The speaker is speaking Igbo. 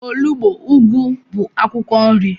Onugbo, ugwu bụ akwụkwọ nri